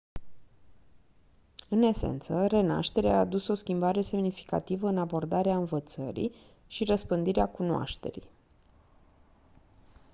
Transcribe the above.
în esență renașterea a adus o schimbare semnificativă în abordarea învățării și răspândirea cunoașterii